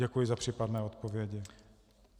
Děkuji za případné odpovědi.